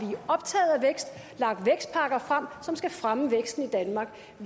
har frem som skal fremme væksten i danmark